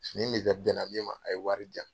Fini mi bɛnna min ma a ye wari jan.